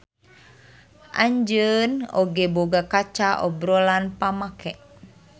Anjeun oge boga kaca obrolan pamake.